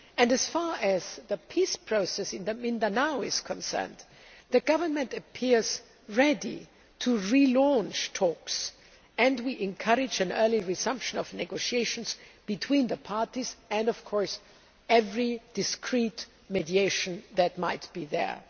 As far as the Peace Process in Mindanao is concerned, the Government appears ready to re launch talks and we encourage an early resumption of negotiations between the parties and, of course, every discreet mediation that might be there.